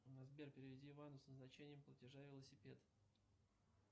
сбер переведи ивану с назначением платежа велосипед